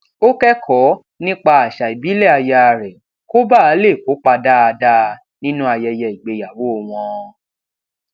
ó kékòó nípa àṣà ìbílè aya rè kó bàa lè kópa dáadáa nínú ayẹyẹ ìgbéyàwó wọn